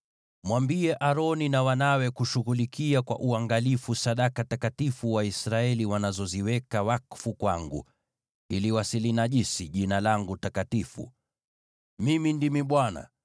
“Mwambie Aroni na wanawe kushughulikia kwa uangalifu sadaka takatifu Waisraeli wanazoziweka wakfu kwangu, ili wasilinajisi Jina langu takatifu. Mimi ndimi Bwana .